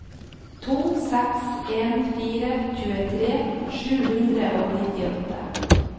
to seks en fire tjuetre sju hundre og nittiåtte